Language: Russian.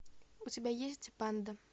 у тебя есть панда